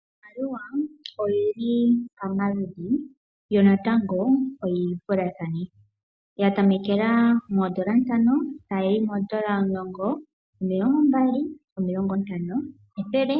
Iimaliwa oyi li pamaludhi, yo natango oyi vulathane. Ya tamekela moondola ntano, tayi yi moondola omulongo, omilongo mbali, omilongo ntano, ethele,